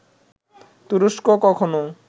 তুরস্ক কখনো